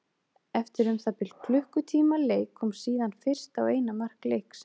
Eftir um það bil klukkutíma leik kom síðan fyrsta og eina mark leiksins.